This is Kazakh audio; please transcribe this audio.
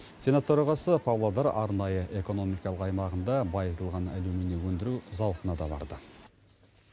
сенат төрағасы павлодар арнайы экономикалық аймағында байытылған алюминий өндіру зауытына да барды